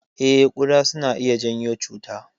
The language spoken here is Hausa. Eh, kuɗa suna iya janyo cuta.